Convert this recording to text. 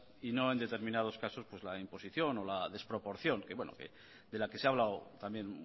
y no en determinados casos la imposición o la desproporción de la que se ha hablado también